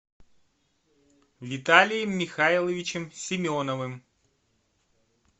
виталием михайловичем семеновым